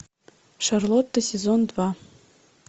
шарлотта сезон два